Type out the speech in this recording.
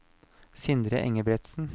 Sindre Engebretsen